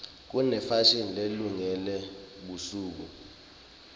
kunefashini lelungele busuku